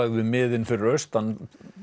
við miðin fyrir austan